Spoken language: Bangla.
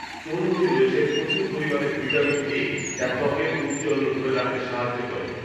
তরমুজে রয়েছে প্রচুর পরিমাণে ভিটামিন এ, যা ত্বকের ঔজ্জল্য ধরে রাখতে সাহায্য করে